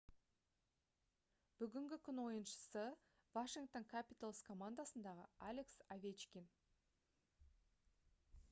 бүгінгі күн ойыншысы washington capitals командасындағы алекс овечкин